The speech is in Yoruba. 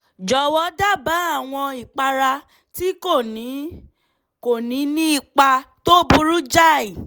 jọ̀wọ́ dábàá àwọn ìpara tí kò ní kò ní ní ipa tó burú jáì